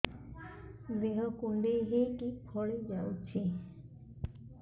ଦେହ କୁଣ୍ଡେଇ ହେଇକି ଫଳି ଯାଉଛି